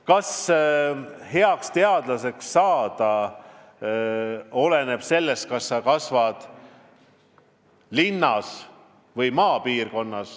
Kas heaks teadlaseks saamine oleneb sellest, kas sa kasvad linnas või maal?